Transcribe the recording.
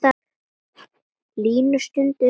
Línu stundum framinn á.